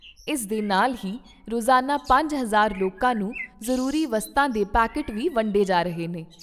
ਇਸ ਦੇ ਨਾਲ ਹੀ ਰੋਜ਼ਾਨਾ ਪੰਜ ਹਜ਼ਾਰ ਲੋਕਾਂ ਨੂੰ ਜ਼ਰੂਰੀ ਵਸਤਾਂ ਦੇ ਪੈਕੇਟ ਵੀ ਵੰਡੇ ਜਾ ਰਹੇ ਨੇ।